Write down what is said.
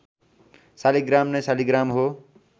शालिग्राम नै शालिग्राम हो